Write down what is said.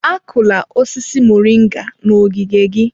Akụla osisi moringa n'ogige gị!